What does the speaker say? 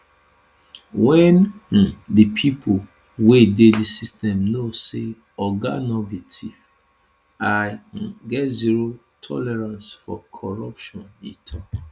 wen um di pipo wey dey di system know say oga no be thief i um get zero tolerance for corruption e tok